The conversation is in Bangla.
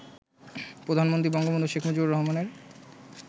প্রধানমন্ত্রী বঙ্গবন্ধু শেখ মুজিবুর রহমানের